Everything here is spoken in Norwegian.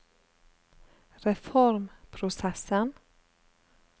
reformprosessen